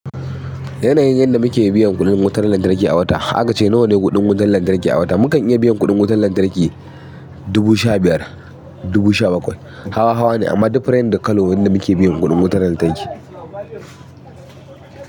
Yanayin yanda muke biyan kuɗin wutar lantarki a wata, akace nawane kuɗin wutar lantarki a wata. Mukan iya biyan kuɗin wutar lantarki dubu sha biyar, dubu sha bakwai. Hawa-hawa ne amma different da kallo wanda muke biyan kuɗin wutar lantarki.